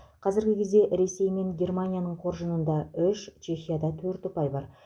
қазіргі кезде ресей мен германияның қоржынында үш чехияда төрт ұпай бар